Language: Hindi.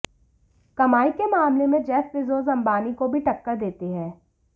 कमाई के मामले में जेफ बेजोस अंबानी को भी टक्कर देते हैं